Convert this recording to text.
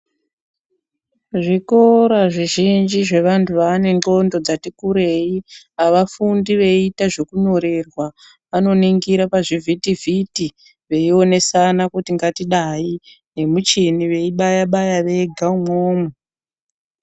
Zvikora zvizhinji zvevanhu vaaane ndxondo dzatikurei avafundi veiite zvekunyorerwa, vanoningire pazvivhiti vhiti veionesana kuti ngatidayi vemichini veibaya baya vega umwomwo.